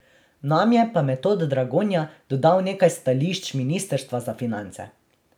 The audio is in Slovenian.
Nam je pa Metod Dragonja dodal nekaj stališč ministrstva za finance.